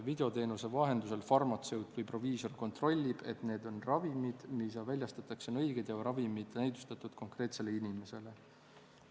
Videoteenuse vahendusel farmatseut või proviisor kontrollib, et need ravimid, mida väljastatakse, on õiged ja näidustatud konkreetsele inimesele.